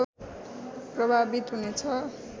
प्रभावित हुनेछन्